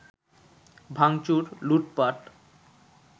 ভাঙচুর, লুটপাট